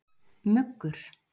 Muggur